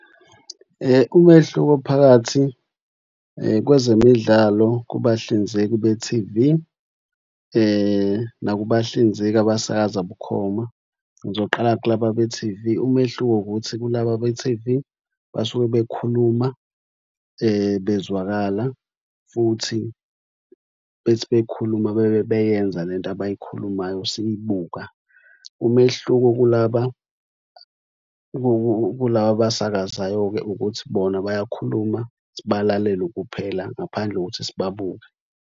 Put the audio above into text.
Umehluko phakathi kwezemidlalo kubahlinzeki be-T_V nakubahlinzeki abasakaza bukhoma. Ngizoqala kulaba be-T_V. Umehluko ukuthi kulaba be-T_V basuke bekhuluma bezwakala futhi bethi bekhuluma bebe beyenza le nto abayikhulumayo siyibuka. Umehluko kulaba kulaba abasakazayo-ke ukuthi bona bayakhuluma sibalalele kuphela ngaphandle kokuthi sibabuke.